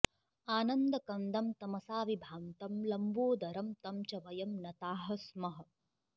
आनन्दकन्दं तमसा विभान्तं लम्बोदरं तं च वयं नताः स्मः